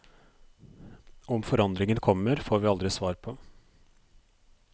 Om forandringen kommer, får vi aldri svar på.